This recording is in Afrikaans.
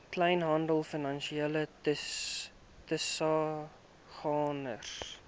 kleinhandel finansiële tussengangers